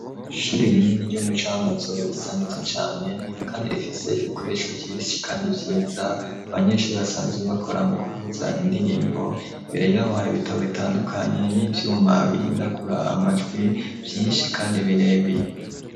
Ishuri rinini ryo mu cankuzo risa niza cyane kandi rifise ibikoresho byishi kandi byiza abanyeshuri basanzebakora mu kuvuza indirimbo mbere yaboha bitbo bitandukanye n'ibyuma bihindagura amajwi byinshi kandi birebire.